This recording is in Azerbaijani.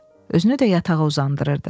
Özünü də yatağa uzandırırdı.